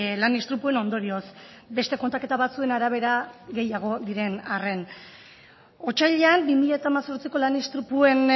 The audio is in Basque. lan istripuen ondorioz beste kontaketa batzuen arabera gehiago diren arren otsailean bi mila hemezortziko lan istripuen